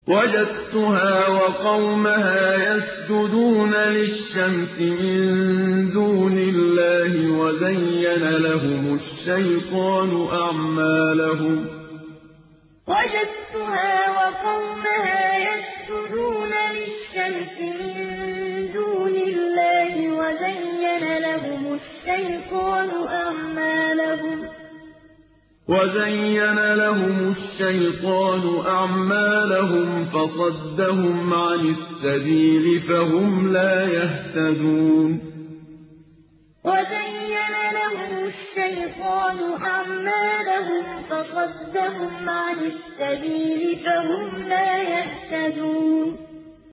وَجَدتُّهَا وَقَوْمَهَا يَسْجُدُونَ لِلشَّمْسِ مِن دُونِ اللَّهِ وَزَيَّنَ لَهُمُ الشَّيْطَانُ أَعْمَالَهُمْ فَصَدَّهُمْ عَنِ السَّبِيلِ فَهُمْ لَا يَهْتَدُونَ وَجَدتُّهَا وَقَوْمَهَا يَسْجُدُونَ لِلشَّمْسِ مِن دُونِ اللَّهِ وَزَيَّنَ لَهُمُ الشَّيْطَانُ أَعْمَالَهُمْ فَصَدَّهُمْ عَنِ السَّبِيلِ فَهُمْ لَا يَهْتَدُونَ